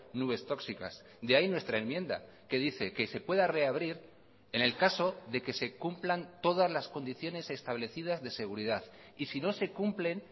nubes tóxicas de ahí nuestra enmienda que dice que se pueda reabrir en el caso de que se cumplan todas las condiciones establecidas de seguridad y si no se cumplen